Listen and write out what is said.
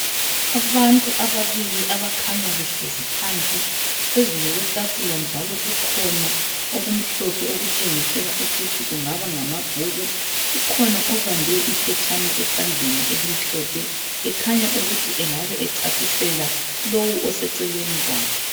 Abantu ababili abakhanya behlezi phansi phezulu kwetafula njalo kukhona okumhlophe okutshengisela ukuthi kungaba ngamabhuku, ukhona obambe iphetshana esandleni elimhlophe ukhanya ukuthi engabe echasisela lowu oseceleni kwakhe.